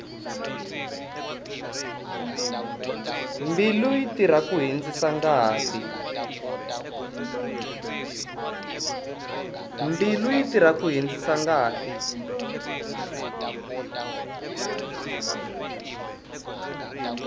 mbilu yi tirha ku hundzisa ngati